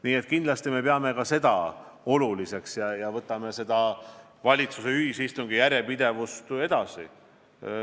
Nii et kindlasti me Soomega peame seda oluliseks ja hoiame valitsuste ühisistungi järjepidevust edaspidigi.